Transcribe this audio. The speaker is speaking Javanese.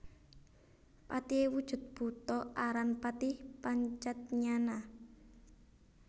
Patihé wujud buta aran Patih Pancatnyana